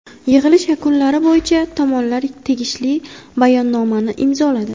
Yig‘ilish yakunlari bo‘yicha tomonlar tegishli bayonnomani imzoladi.